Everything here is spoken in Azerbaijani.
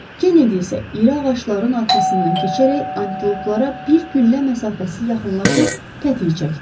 Kennedy isə iri ağacların arxasından keçərək antiloplara bir güllə məsafəsi yaxınlaşıb tətik çəkdi.